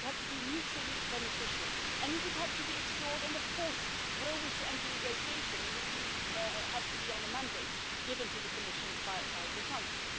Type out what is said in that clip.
It would have to be mutually beneficial and it would have to be explored and, of course, were we to enter negotiations, it would have to be on a mandate given to the Commission by the Council.